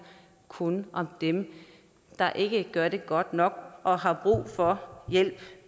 kun om dem der ikke gør det godt nok og har brug for hjælp